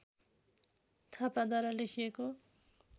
थापाद्वारा लेखिएको